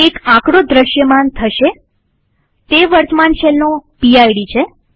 એક આંકડો દ્રશ્યમાન થશેતે વર્તમાન શેલનો પીડ છે